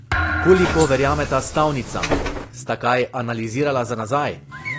Koliko verjameta stavnicam, sta kaj analizirala za nazaj?